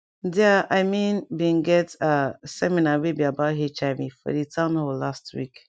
there i mean been get ah seminar wey be about hiv for di town hall last week